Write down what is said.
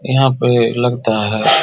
यहाँ पे लगता है ।